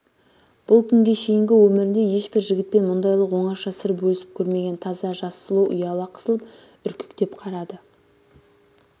бұл күнге шейінгі өмірінде ешбір жігітпен мұндайлық оңаша сыр бөлісіп көрмеген таза жас сұлу ұяла қысылып үркектеп қарады